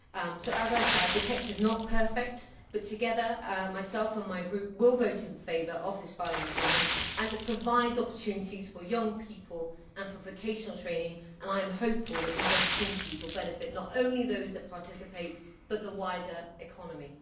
So the text is not perfect but together I and my group will vote in favour of this final agreement as it provides opportunities for young people and for vocational training, and I am hopeful that these opportunities will benefit not only those that participate but also the wider economy.